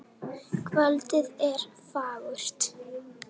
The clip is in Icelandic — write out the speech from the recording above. Kvöldið er fagurt.